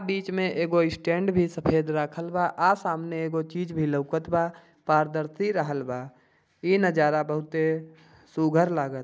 बीच में एगो स्टैंड भी सफ़ेद राखल बा आ सामने एगो चीज भी लउकत बा पारदर्शी रहल बा इ नज़ारा बहुत ही सुघर लागत--